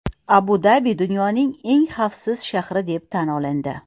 Abu-Dabi dunyoning eng xavfsiz shahri deb tan olindi.